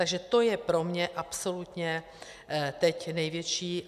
Takže to je pro mě absolutně teď největší...